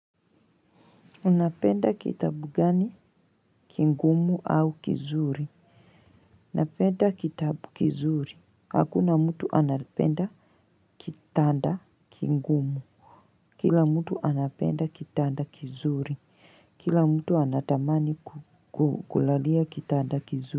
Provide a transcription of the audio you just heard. Unapenda kitabu gani? Kingumu au kizuri? Napenda kitabu kizuri. Hakuna mtu anapenda kitanda kingumu. Kila mtu anapenda kitanda kizuri. Kila mtu anatamani kukulalia kitanda kizuri.